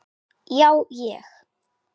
Já ég.